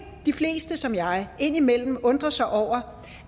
de fleste som jeg indimellem undrer sig over